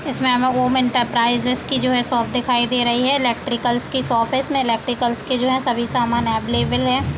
इसमें हमें home enterprises की जो है शॉप दिखाई दे रही है इलेक्ट्रिकल्स की शॉप है इसमें इलेक्ट्रिकल्स के जो हैं सभी सामान अवेलेबल हैं।